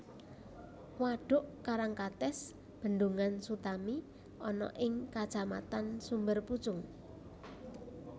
Wadhuk Karangkates Bendungan Sutami ana ing Kacamatan Sumberpucung